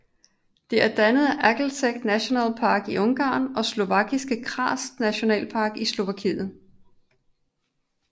Det er dannet af Aggtelek Nationalpark i Ungarn og Slovakiske Karst Nationalpark i Slovakiet